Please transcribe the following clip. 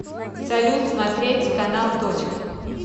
салют смотреть канал точка